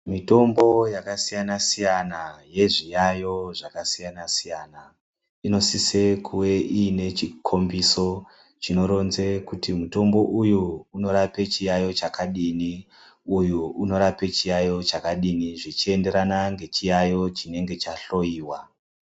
Mitombo yakasiyana siyana yezviyayo zvakasiyana siyana siyana inosise kuve iine chikomboso chinoronze kuti mutombo uyu unorapa chiyayo chakadini ,uyu unorapa chiyayo chakadini ,zvichienderana ngechiyayo chinenge chahloiwa.